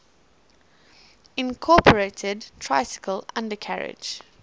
incorporated tricycle undercarriage